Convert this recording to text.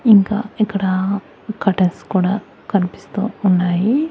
ఇంకా ఇక్కడ కర్టన్స్ కూడా కనిపిస్తూ ఉన్నాయి.